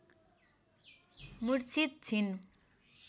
मूर्छित छिन्